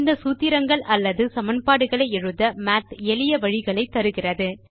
இந்த சூத்திரங்கள் அல்லது சமன்பாடுகளை எழுத மாத் எளிய வழிகளை தருகிறது